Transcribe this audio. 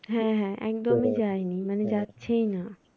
হ্যাঁ হ্যাঁ একদম যায়নি মানে যাচ্ছেই না।